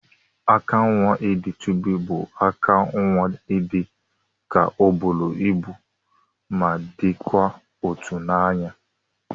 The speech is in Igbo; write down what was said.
Aka nwa idi chubi bu aka nwa idika oburu ibu ma dikwa ụtọ na anya.